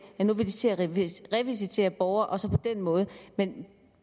de nu vil til at revisitere borgeren og så på den måde men